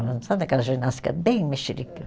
Sabe aquela ginástica bem mexerica?